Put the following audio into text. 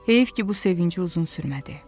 Heyif ki, bu sevinci uzun sürmədi.